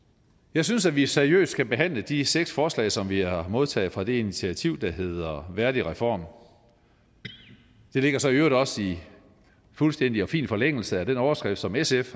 jeg synes at vi seriøst skal behandle de seks forslag som vi har modtaget fra det initiativ der hedder værdigreform det ligger så i øvrigt også i fuldstændig og fin forlængelse af den overskrift som sf